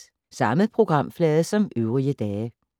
Samme programflade som øvrige dage